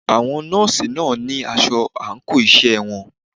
Àwọn nọ́ọ̀sì náà ní asọ àńkò iṣẹ́ wọn.